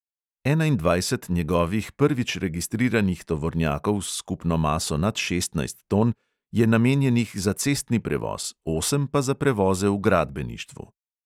Enaindvajset njegovih prvič registriranih tovornjakov s skupno maso nad šestnajst ton je namenjenih za cestni prevoz, osem pa za prevoze v gradbeništvu.